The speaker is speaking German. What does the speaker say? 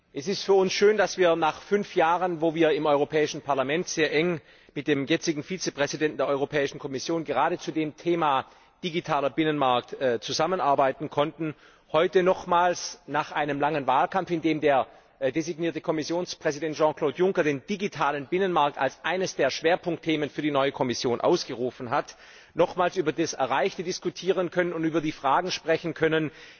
Es ist für uns schön, dass wir nach fünf Jahren, wo wir im Europäischen Parlament sehr eng mit dem jetzigen Vizepräsidenten der Europäischen Kommission gerade zu dem Thema digitaler Binnenmarkt zusammenarbeiten konnte, heute nochmals nach einem langen Wahlkampf, in dem der designierte Kommissionspräsident Jean Claude Juncker den digitalen Binnenmarkt als einen der Schwerpunktthemen für die neue Kommission ausgerufen hat, nochmals über das Erreichte diskutieren können und über die Fragen sprechen können,